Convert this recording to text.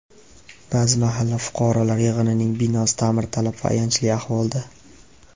Ba’zi mahalla fuqarolar yig‘inining binosi ta’mirtalab va ayanchli ahvolda.